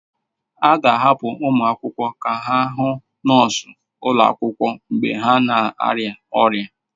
A ga-ahapụ ụmụ akwụkwọ ka ha hụ nọọsụ ụlọ akwụkwọ mgbe ha na-arịa ọrịa.